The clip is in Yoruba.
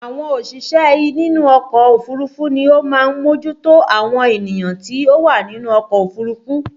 Àwọn òṣìṣẹ́ nínú ọkọ̀ òfúrufú ni ó máa ń mójú tó àwọn ènìyàn tí ó wà nínú ọkọ̀ òfurufú